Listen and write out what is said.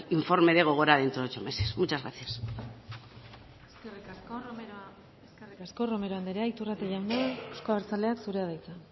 informe de gogora dentro de ocho meses muchas gracias eskerrik asko romero anderea iturrate jauna euzko abertzaleak zurea da hitza